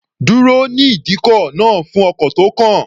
Dúró ní ìdíkọ̀ náà fún ọkọ̀ tó kàn.